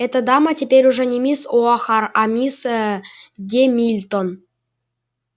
эта дама теперь уже не мисс оахар а мисс ээ гемильтон